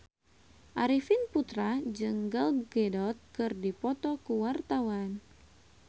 Arifin Putra jeung Gal Gadot keur dipoto ku wartawan